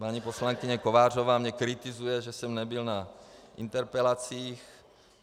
Paní poslankyně Kovářová mne kritizuje, že jsem nebyl na interpelacích.